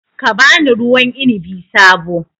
Ka ba ni ruwan inabi sabo